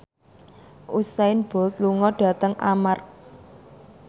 Usain Bolt lunga dhateng Armargh